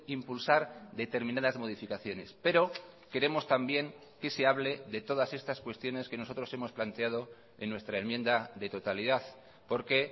impulsar determinadas modificaciones pero queremos también que se hable de todas estas cuestiones que nosotros hemos planteado en nuestra enmienda de totalidad porque